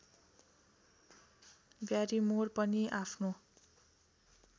Barrymore पनि आफ्नो